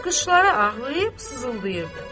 Qışlara ağlayıb sızıldayırdı.